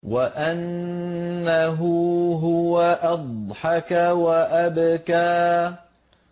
وَأَنَّهُ هُوَ أَضْحَكَ وَأَبْكَىٰ